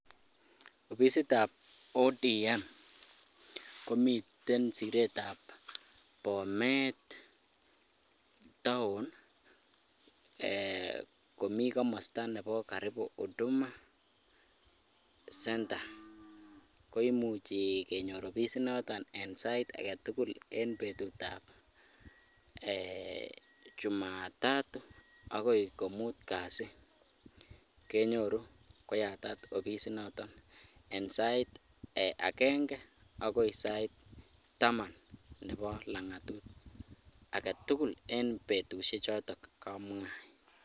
Ofisitab ODM komiten siretab Bomet taon eeh komii komosto nebo karibu huduma center koimuch kenyor ofisi noton en sait aketukul en betutab eeh jumatatu akoi komut kasi kenyoru koyatat ofisi noton en sait akeng'e akoi sait taman nebo lang'atut aketukul en betushechotok kamwai.